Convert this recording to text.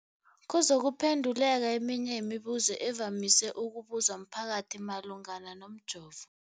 kuzokuphe nduleka eminye yemibu zo evamise ukubuzwa mphakathi malungana nomjovo.